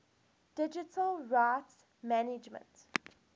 digital rights management